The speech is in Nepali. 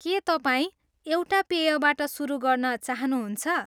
के तपाईँ एउटा पेयबाट सुरु गर्न चाहनुहुन्छ?